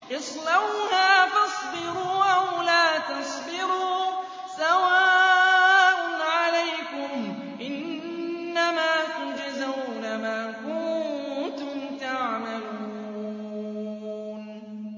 اصْلَوْهَا فَاصْبِرُوا أَوْ لَا تَصْبِرُوا سَوَاءٌ عَلَيْكُمْ ۖ إِنَّمَا تُجْزَوْنَ مَا كُنتُمْ تَعْمَلُونَ